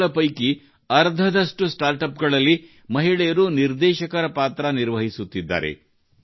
ಇವುಗಳ ಪೈಕಿ ಅರ್ಧದಷ್ಟು ಸ್ಟಾರ್ಟ್ ಅಪ್ ಗಳಲ್ಲಿ ಮಹಿಳೆಯರು ನಿರ್ದೇಶಕರ ಪಾತ್ರ ನಿರ್ವಹಿಸುತ್ತಿದ್ದಾರೆ